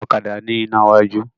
Ọ̀kadà ni ina iwájú